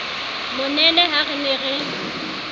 monene ha re ne re